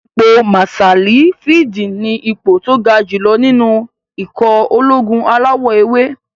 Ipò màsáàlì fíìdì ní ipò tó ga jù lọ nínú ikọ̀ ológun alawọ̀-ewé